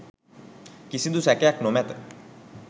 කිසිදු සැකයක් නොමැත.